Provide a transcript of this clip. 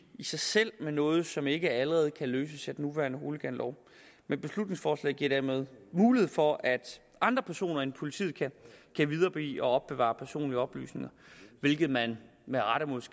sig selv med noget som ikke allerede kan løses med den nuværende hooliganlov men beslutningsforslaget giver derimod mulighed for at andre personer end politiet kan videregive og opbevare personlige oplysninger hvilket man med rette